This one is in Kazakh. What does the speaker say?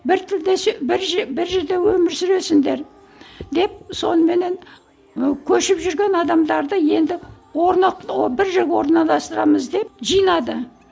бір бір бір жерде өмір сүресіңдер деп соныменен ы көшіп жүрген адамдарды енді ы бір жерге орналастырамыз деп жинады